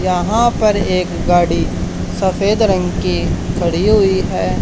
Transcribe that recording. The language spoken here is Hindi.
यहां पर एक गाड़ी सफेद रंग की खड़ी हुई है।